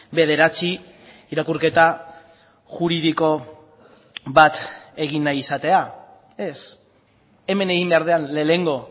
bederatzi irakurketa juridiko bat egin nahi izatea ez hemen egin behar den lehenengo